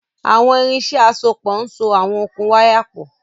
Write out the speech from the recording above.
Àwọn irinṣẹ́ àsopọ̀ ń so àwọn okùn wáyà pọ̀